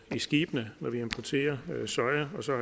i skibene når vi importerer soja og så